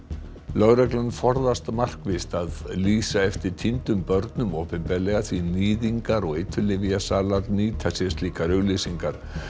lögreglan forðast markvisst að lýsa eftir týndum börnum opinberlega því níðingar og eiturlyfjasalar nýta sér slíkar auglýsingar